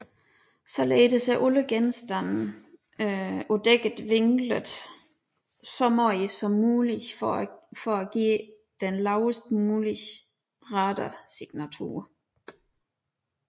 Således er alle genstande på dækket vinklet så meget som muligt for at give den lavest mulige radarsignatur